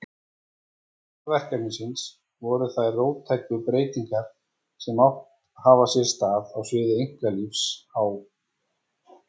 Forsendur verkefnisins voru þær róttæku breytingar sem átt hafa sér stað á sviði einkalífs á